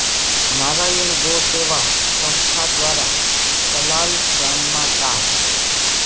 નારાયણ ગૌ સેવા સંસ્થા દ્વારા સલાલ ગામમાં તા